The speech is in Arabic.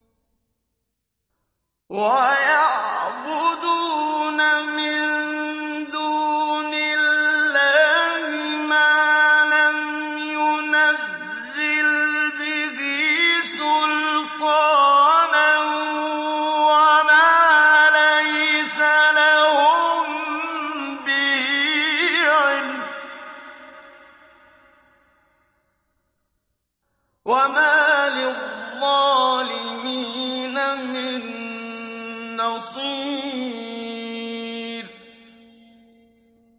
وَيَعْبُدُونَ مِن دُونِ اللَّهِ مَا لَمْ يُنَزِّلْ بِهِ سُلْطَانًا وَمَا لَيْسَ لَهُم بِهِ عِلْمٌ ۗ وَمَا لِلظَّالِمِينَ مِن نَّصِيرٍ